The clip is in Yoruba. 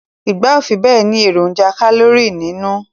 Igba o fibe ni eroja kalori ninu